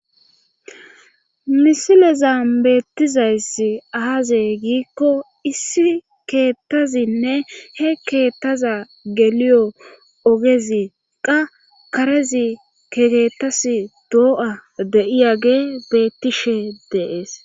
misilezan beettizayssi aaze giikko issi keettazinne he keettaza geliyo ogezi qa karezi kekeettas doo'a de'iyage beettishe deees.